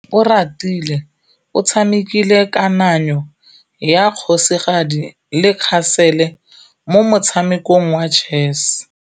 Oratile o tshamekile kananyô ya kgosigadi le khasêlê mo motshamekong wa chess.